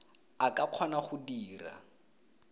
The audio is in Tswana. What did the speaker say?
a ka kgona go dira